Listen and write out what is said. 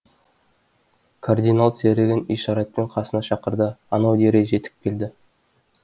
кардинал серігін ишаратпен қасына шақырды анау дереу жетіп келді